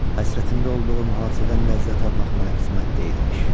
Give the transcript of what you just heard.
Həsrətində olduğum hadisədən ləzzət almaq mənə qismət deyilmiş.